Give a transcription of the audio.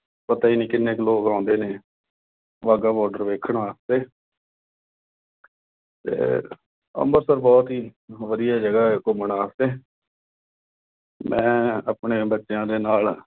ਪਤਾ ਈ ਨੀਂ ਕਿੰਨੇ ਕੁ ਲੋਕ ਆਉਂਦੇ ਨੇ। ਬਾਘਾ border ਦੇਖਣ ਵਾਸਤੇ। ਤੇ ਅੰਮ੍ਰਿਤਸਰ ਬਹੁਤ ਹੀ ਵਧੀਆ ਜਗ੍ਹਾ ਘੁੰਮਣ ਵਾਸਤੇ। ਮੈਂ ਆਪਣੇ ਬੱਚਿਆਂ ਦੇ ਨਾਲ